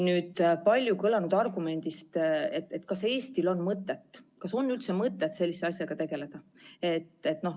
Nüüd aga palju kõlanud argumendist, kas Eestil on mõtet, kas üldse on mõtet sellise asjaga tegeleda.